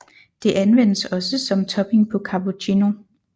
Det anvendes også som topping på cappuccino